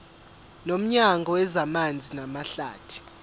nomnyango wezamanzi namahlathi